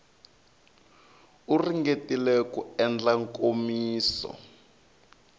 u ringetile ku endla nkomiso